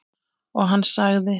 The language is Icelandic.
Og hann sagði